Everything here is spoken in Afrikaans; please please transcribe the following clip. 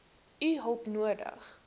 u hulp nodig